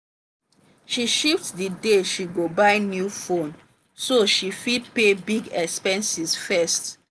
she shift the day she go buy new phone so she fit pay big expenses first.